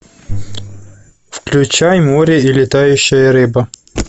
включай море и летающая рыба